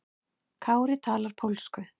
Kári talar pólsku.